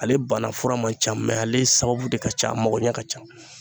Ale bana fura man ca ale sababu de ka ca a magoɲɛ ka ca.